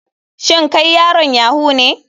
Shin kai yaron yahoo ne.